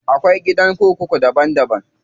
Akwai gidan kurku daban daban.